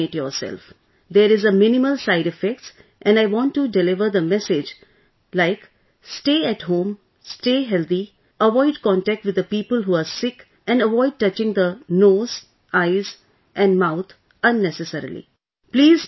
Please vaccinate yourself; there is a minimal side effects and I want to deliver the message like, stay at home, stay healthy, avoid contact with the people who are sick and avoid touching the nose, eyes and mouth unnecessarily